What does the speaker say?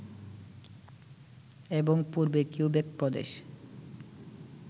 এবং পূর্বে কিউবেক প্রদেশ